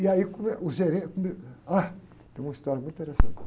E aí como é, o gerente... Ah, tem uma história muito interessante.